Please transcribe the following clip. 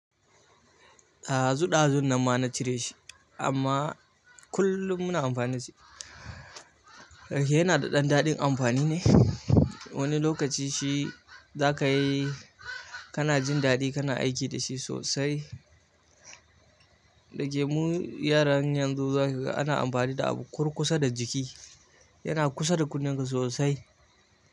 Dazu ɗazun nan ma na cire shi amma kullum muna amfani da shi. Yana da ɗan daɗin amfani ne. Wani lokaci shi za ka yi kana jin daɗi kana aiki da shi sosai. Dage mu yaran yanzu za ka ga ana amfani da abu kurkusa da jiki. Yana kusa da kunnanka sosai.